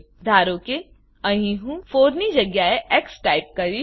ધારો કે અહીં હું 4 ની જગ્યાએ એક્સ ટાઈપ કરીશ